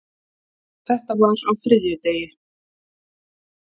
Þetta var á þriðjudegi.